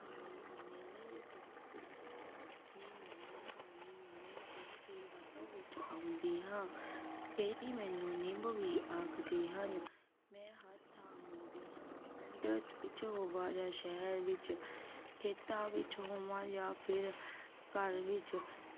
ਵਰਤੋਂ ਵਿਚ ਆਉਂਦੀ ਹਾਂ ਕਈ ਮੈਨੂੰ ਨਿੰਮ ਵੀ ਆਖਦੇ ਹਨ। ਮੈਂ ਹਰ ਥਾਂ ਮਿਲਦੀ ਹਾਂ ਪਿੰਡ ਵਿਚ ਹੋਵਾਂ ਜਾਂ ਸ਼ਹਿਰ ਵਿਚ ਖੇਤਾਂ ਵਿਚ ਹੋਵਾਂ ਯਾ ਫੇਰ ਘਰ ਵਿਚ